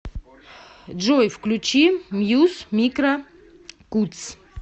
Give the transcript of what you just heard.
джой включи мьюз микро кутс